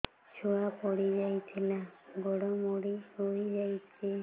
ଛୁଆ ପଡିଯାଇଥିଲା ଗୋଡ ମୋଡ଼ି ହୋଇଯାଇଛି